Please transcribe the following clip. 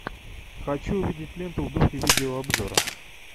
хочу увидеть ленту в духе видеообзора